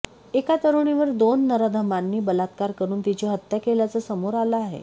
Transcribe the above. एका तरुणीवर दोन नराधमांनी बलात्कार करून तिची हत्या केल्याचं समोर आलं आहे